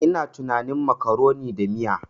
Ina tunanin macaroni da miya.